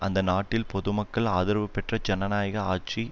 அந்த நாட்டில் பொதுமக்கள் ஆதரவுபெற்ற ஜனநாயக ஆட்சி